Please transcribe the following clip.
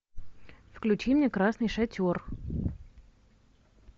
включи мне красный шатер